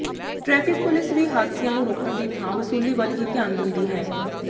traffic police ਵੀ ਹਾਦਸਿਆਂ ਨੂੰ ਰੋਕਣ ਦੀ ਥਾਂ ਵਸੂਲੀ ਵੱਲ ਹੀ ਧਿਆਨ ਦਿੰਦੀ ਹੈ